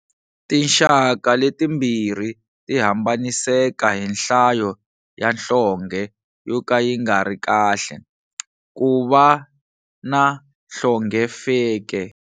Tinxaka letimbirhi ti hambaniseka hi nhlayo ya nhlonge yo ka yi ngari kahle, ku va na nhlonge feke.